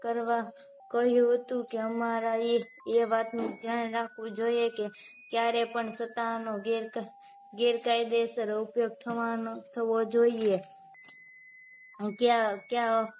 કરવા કહ્યું હતું કે અમારા એ એ વાતનું ધ્યાન રાખવું જોઈએ કે ત્યારે પણ સત્તાનો ગેર ગેરકાયદેસર ઉપયોગ થવા નો થવો જોઈએ કયા કયા